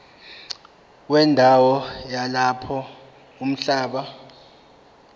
wendawo yalapho umhlaba